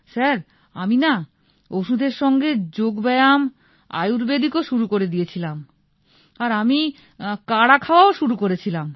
sir আমি না ওষুধের সঙ্গে যোগ ব্যায়াম আয়ূর্বেদিক ও শুরু করে দিয়ে ছিলাম আর আমি কাঢ়া খাওয়াও শুরু করেছিলাম